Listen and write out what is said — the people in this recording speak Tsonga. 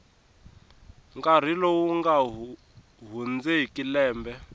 nkarhi lowu nga hundzeki lembe